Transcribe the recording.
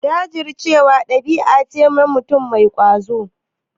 Jajircewa ɗabi'a ce ta mutum mai ƙwazo.